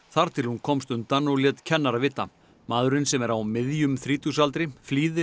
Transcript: þar til hún komst undan og lét kennara vita maðurinn sem er á miðjum þrítugsaldri flýði